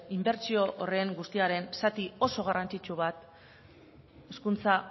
inbertsio horren guztiaren zati oso garrantzitsu bat hezkuntza